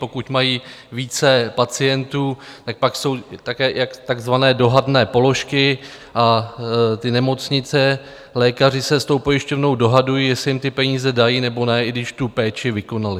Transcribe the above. Pokud mají více pacientů, tak pak jsou také takzvané dohadné položky a ty nemocnice, lékaři se s tou pojišťovnou dohadují, jestli jim ty peníze dají, nebo ne, i když tu péči vykonali.